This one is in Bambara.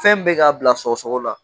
Fɛn min bɛ k'a bila sɔgɔsɔgɔ la